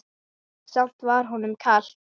Samt var honum kalt.